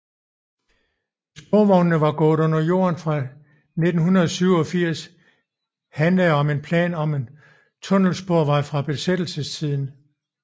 Hvis sporvognene var gået under jorden fra 1987 handlede om en plan om en tunnelsporvej fra besættelsestiden